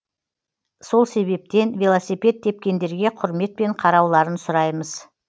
сол себептен велосипед тепкендерге құрметпен қарауларын сұраймыз